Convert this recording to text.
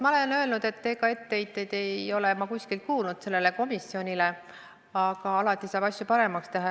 Ma olen öelnud, et etteheiteid sellele komisjonile ma ei ole kuskilt kuulnud, aga alati saab asju paremaks teha.